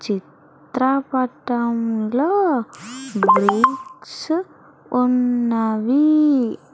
చి త్ర పటములో బ్రి క్సు ఉన్నవి.